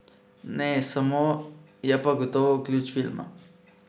Ne samo, je pa gotovo ključ filma.